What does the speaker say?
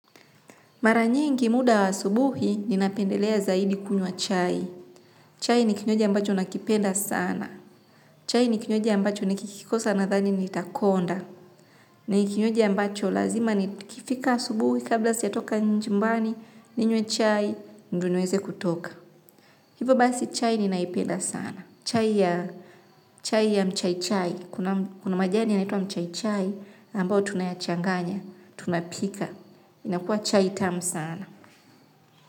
Mara nyingi muda wa asubuhi ninapendelea zaidi kunywa chai. Chai ni kinywaji ambacho nakipenda sana. Chai ni kinywaji ambacho nikikikosa nadhani nitakonda. Ni kinywaji ambacho lazima nikifika asubuhi kabla sijatoka jumbani, ninywe chai, ndo niweze kutoka. Hivo basi chai ninaipenda sana. Chai ya mchai chai. Kuna majani yanaitwa mchaichai ambao tunayachanganya, tunapika. Inakua chai tamu sana.